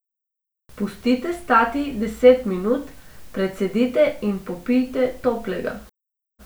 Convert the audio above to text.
Pustite stati deset minut, precedite in popijte toplega.